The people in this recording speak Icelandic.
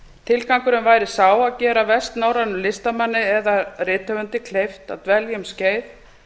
tilgangurinn væri sá að gera vestnorrænum listamanni eða rithöfundi kleift að dvelja um skeið